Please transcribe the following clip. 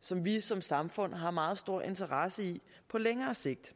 som vi som samfund har meget stor interesse i på længere sigt